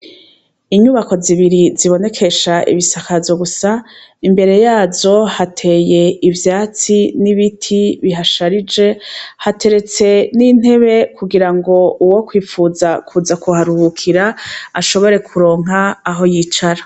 Inyubako zibiri zibonekesha ibisakazo gusa, imbere yazo hateye ivyatsi n'ibiti bihasharije, hateretse n'intebe kugira ngo uwokwipfuza kuza kuharuhukira ashobore kuronka aho yicara.